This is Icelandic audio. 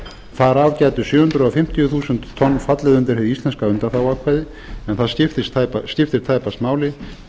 gætu sjö hundruð fimmtíu þúsund tonn fallið undir hið íslenska undanþáguákvæði en það skiptir tæpast máli því